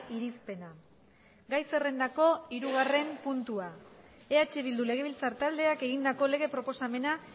irizpena gai zerrendako hirugarren puntua eh bildu legebiltzar taldeak egindako lege proposamena